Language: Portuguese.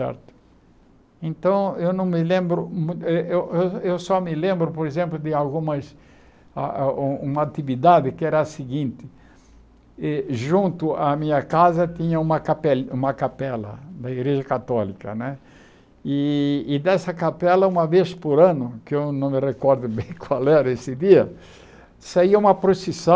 Então, eu não me lembro mu eh eh eu só me lembro, por exemplo, de algumas ah ah uma atividade que era a seguinte, eh junto à minha casa tinha uma capeli uma capela da Igreja Católica né, e e dessa capela, uma vez por ano, que eu não me recordo bem qual era esse dia, saía uma procissão,